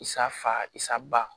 Isaa fa isa ba